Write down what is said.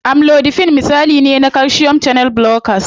Amlodipine misali ne na calcium channel blockers.